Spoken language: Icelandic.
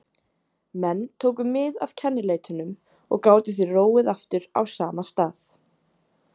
Menn tóku mið af kennileitunum og gátu því róið aftur á sama stað.